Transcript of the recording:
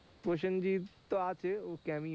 প্রসেনজিৎ তো আছেই